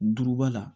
Duruba la